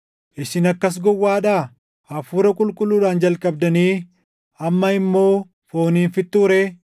Isin akkas gowwaadhaa? Hafuura Qulqulluudhaan jalqabdanii amma immoo fooniin fixxuu ree?